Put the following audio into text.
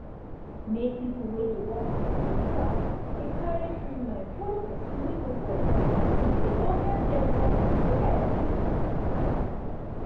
make people wey dey work for hospital dey carry free mind follow person wey no well yan e go help dem work well